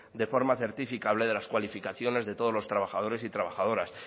de forma certificable de las cualificaciones de todos los trabajadores y trabajadoras